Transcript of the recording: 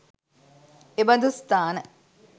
එබඳු ස්ථාන